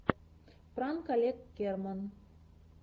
пранк олег керман